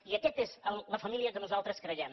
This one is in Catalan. i aquesta és la família que nosaltres creiem